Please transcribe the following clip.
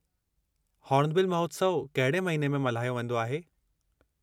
Hornbill महोत्सवु कहिड़े महीने में मल्हायो वेंदो आहे?